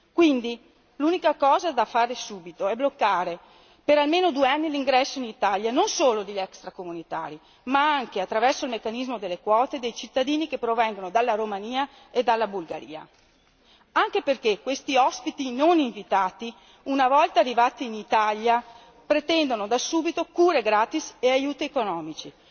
Quindi, l'unica cosa da fare subito è bloccare per almeno due anni l'ingresso in Italia non solo degli extracomunitari ma anche, attraverso il meccanismo delle quote, dei cittadini che provengono dalla Romania e dalla Bulgaria, anche perché questi ospiti non invitati, una volta arrivati in Italia, pretendono da subito cure gratis e aiuti economici.